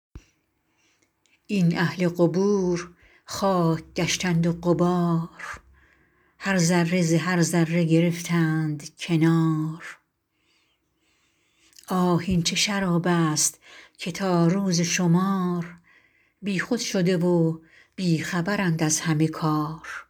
این اهل قبور خاک گشتند و غبار هر ذره ز هر ذره گرفتند کنار آه این چه شراب است که تا روز شمار بیخود شده و بی خبرند از همه کار